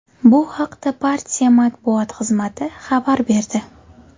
Bu haqda partiya matbuot xizmati xabar berdi .